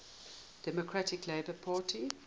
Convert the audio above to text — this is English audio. democratic labour party